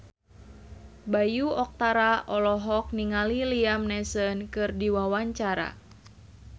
Bayu Octara olohok ningali Liam Neeson keur diwawancara